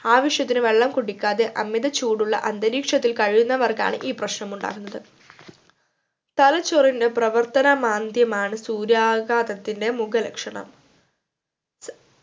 ആവിശ്യത്തിന് വെള്ളം കുടിക്കാതെ അമിതചൂടുള്ള അന്തരീക്ഷത്തിൽ കഴിയുന്നവർക്കാണ് ഈ പ്രശ്‌നമുണ്ടാകുന്നത് തലച്ചോറിൻറെ പ്രവർത്തനമാന്ദ്യമാണ് സൂര്യാഘാതത്തിൻ്റെ മുഖലക്ഷണം